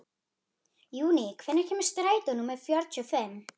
Júní, hvenær kemur strætó númer fjörutíu og fimm?